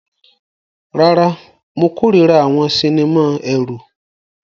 Rárá, mo kórìíra àwọn sinimá ẹ̀rù.